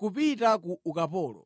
kupita ku ukapolo.